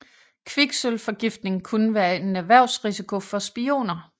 Kviksølvforgiftning kunne være en erhvervsrisiko for spioner